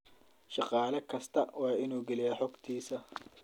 Shaqaale kastaa waa inuu geliyaa xogtiisa.